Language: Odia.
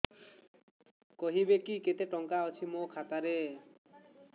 କହିବେକି କେତେ ଟଙ୍କା ଅଛି ମୋ ଖାତା ରେ